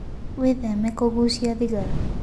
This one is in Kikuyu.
Wĩtheme kũgũcia thĩgara